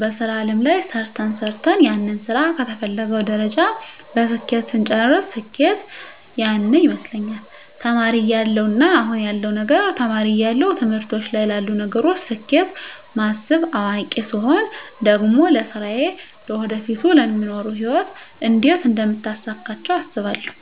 በሥራ አለም ላይ ሰርተ ሰርተን ያንን ስራ ከተፈለገዉ ደረጃ በስኬት ስንጨርስ ስኬት ያነ ይመስለኛል ተማሪ እያለው እና አሁን ያለዉ ነገር ተማሪ እያለው ትምህርቶች ላይ ላሉ ነገሮች ስኬት ማስብ አዋቂ ስቾን ደግሞ ለስራየ ለወደፊቱ ለሚኖሩ ህይወት እንዴት አደምታሳካቸው አስባለሁ